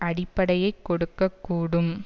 அடிப்படையை கொடுக்க கூடும்